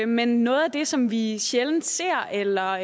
men noget af det som vi sjældent ser eller